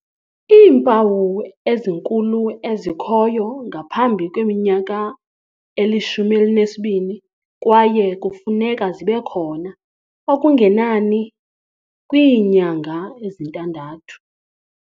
Iimpawu ezinkulu ezikhoyo ngaphambi kweminyaka eli-12 kwaye kufuneka zibekhona okungenani kwiinyanga ezintandathu.